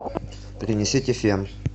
принесите фен